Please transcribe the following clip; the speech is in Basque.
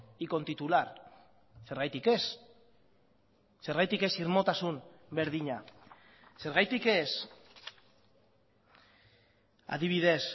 y con titular zergatik ez zergatik ez irmotasun berdina zergatik ez adibidez